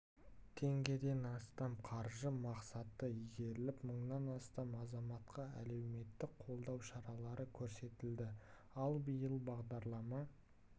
теңгеден астам қаржы мақсатты игеріліп мыңнан астам азаматқа әлеуметтік қолдау шаралары көрсетілді ал биыл бағдарлама